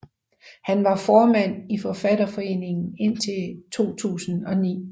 Han var formand i Forfatterforeningen indtil 2009